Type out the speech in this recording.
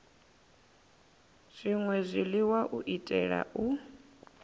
zwṅwe zwiḽiwa u itela u